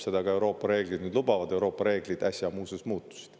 Seda ka Euroopa reeglid nüüd lubavad – Euroopa reeglid äsja muuseas muutusid.